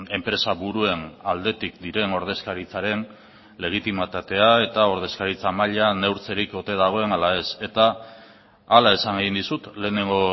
enpresaburuen aldetik diren ordezkaritzaren legitimitatea eta ordezkaritza mailan neurtzerik ote dagoen ala ez eta hala esan egin dizut lehenengo